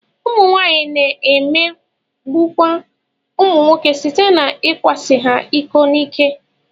Ụmụnwaanyị na-emegbukwa ụmụnwoke site n'ịkwasị ha iko n'ike